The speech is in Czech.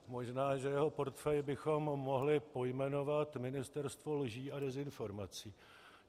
Možná že jeho portfej bychom mohli pojmenovat ministerstvo lží a dezinformací.